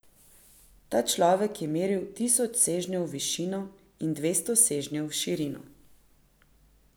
Ta človek je meril tisoč sežnjev v višino in dvesto sežnjev v širino.